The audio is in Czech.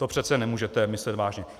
To přece nemůžete myslet vážně.